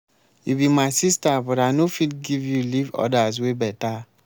you be my sister but i no fit give you leave others wey beta.